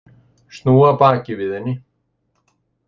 Snúa baki við henni.